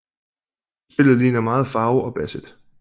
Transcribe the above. Spillet ligner meget Faro og Basset